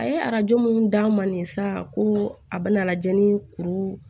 A ye arajo mun d'a ma nin sa ko a bɛna lajɛ ni kuru